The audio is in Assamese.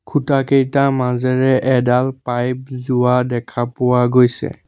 খুঁটাকেইটা মাজেৰে এডাল পাইপ যোৱা দেখা পোৱা গৈছে।